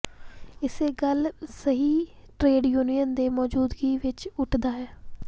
ਇਸੇ ਗੱਲ ਸਹੀ ਟਰੇਡ ਯੂਨੀਅਨ ਦੇ ਮੌਜੂਦਗੀ ਵਿੱਚ ਉੱਠਦਾ ਹੈ